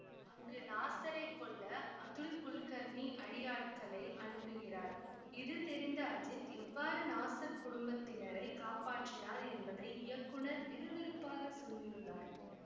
அங்கு நாசரை கொல்ல அதுல் குல்கர்னி அடியாட்களை அனுப்புகிறார் இது தெரிந்த அஜித் எவ்வாறு நாசர் குடும்பத்தினரை காப்பாற்றினார் என்பதை இயக்குநர் விறுவிறுப்பாக சொல்லியுள்ளார்